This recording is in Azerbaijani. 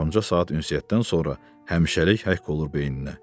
yarımca saat ünsiyyətdən sonra həmişəlik həkk olur beyninə.